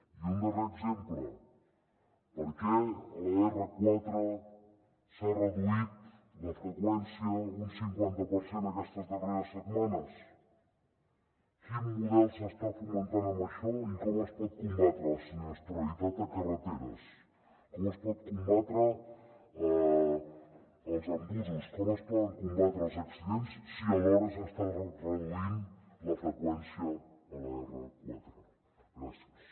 i un darrer exemple per què a l’r4 s’ha reduït la freqüència un cinquanta per cent aquestes darreres setmanes quin model s’està fomentant amb això i com es pot combatre la sinistralitat a carreteres com es poden combatre els embussos com es poden combatre els accidents si alhora s’està reduint la freqüència a l’r4 gràcies